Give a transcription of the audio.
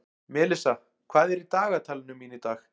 Melissa, hvað er í dagatalinu mínu í dag?